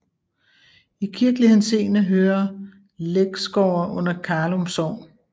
I kirkelig henseende hører Læksgårde under Karlum Sogn